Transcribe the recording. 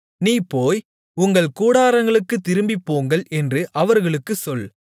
நீ போய் உங்கள் கூடாரங்களுக்குத் திரும்பிப்போங்கள் என்று அவர்களுக்குச் சொல்